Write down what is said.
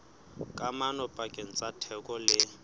kamano pakeng tsa theko le